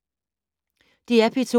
DR P2